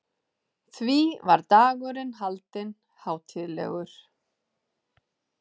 Því var dagurinn haldinn hátíðlegur.